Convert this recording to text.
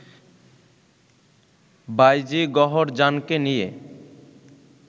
বাঈজী গওহরজানকে নিয়ে